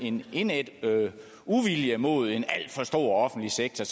en indædt uvilje mod en alt for stor offentlig sektor